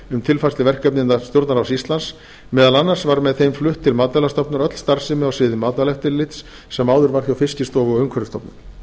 um tilfærslu verkefna innan stjórnarráðs íslands meðal annars var með þeim flutt til matvælastofnunar öll starfsemi á sviði matvælaeftirlits sem áður var hjá fiskistofu og umhverfisstofnun